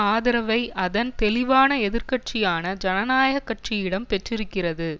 ஆதரவை அதன் தெளிவான எதிர் கட்சியான ஜனநாயக கட்சியிடம் பெற்றிருக்கிறது